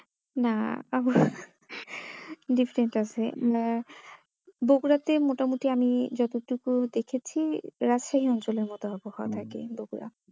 না আবহাওয়া different আছে বকুড়াতে মোটামোটি আমি যতটুকু দেখেছি রাজশাহী অঞ্চলের মত আবহাওয়া থাকে বকুড়া